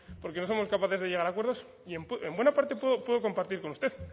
porque no somos capaces de llegar a acuerdos y en buena parte puedo compartir con usted